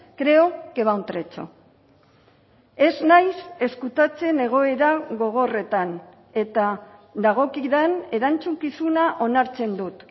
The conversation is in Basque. creo que va un trecho ez naiz ezkutatzen egoera gogorretan eta dagokidan erantzukizuna onartzen dut